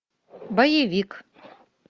боевик